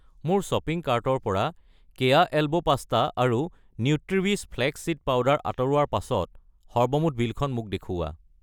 মোৰ শ্বপিং কাৰ্টৰ পৰা কেয়া এল্বো পাস্তা আৰু নিউট্ৰিৱিছ ফ্লেক্স চিড পাউডাৰ আঁতৰোৱাৰ পাছত সৰ্বমুঠ বিলখন মোক দেখুওৱা।